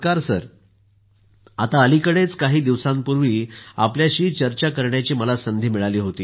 मोदी जीः आता अलिकडेच काही दिवसांपूर्वीच आपल्याशी चर्चा करण्याची संधी मिळाली होती